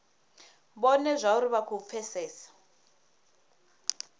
vhone zwauri vha khou pfesesa